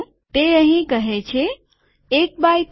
તે અહીં કહે છે ૧ એક્સ ૩ એક બાય ત્રણ